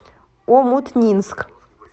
омутнинск